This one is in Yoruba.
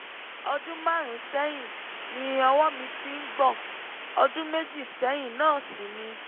ọdún márùn-ún sẹ́yìn ni ọwọ́ mi ti ń gbọ̀n ọdún méjì sẹ́yìn náà sì ni